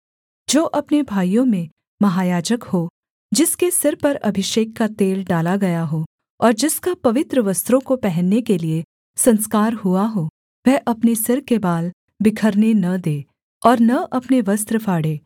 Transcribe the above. जो अपने भाइयों में महायाजक हो जिसके सिर पर अभिषेक का तेल डाला गया हो और जिसका पवित्र वस्त्रों को पहनने के लिये संस्कार हुआ हो वह अपने सिर के बाल बिखरने न दे और न अपने वस्त्र फाड़े